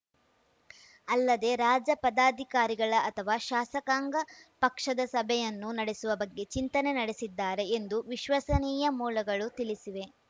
ಅಲ್ಲದೆ ರಾಜ್ಯ ಪದಾಧಿಕಾರಿಗಳ ಅಥವಾ ಶಾಸಕಾಂಗ ಪಕ್ಷದ ಸಭೆಯನ್ನೂ ನಡೆಸುವ ಬಗ್ಗೆ ಚಿಂತನೆ ನಡೆಸಿದ್ದಾರೆ ಎಂದು ವಿಶ್ವಸನೀಯ ಮೂಲಗಳು ತಿಳಿಸಿವೆ